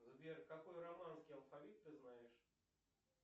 сбер какой романский алфавит ты знаешь